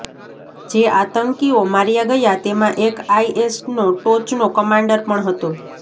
જે આતંકીઓ માર્યા ગયા તેમાં એક આઇએસનો ટોચનો કમાંડર પણ હતો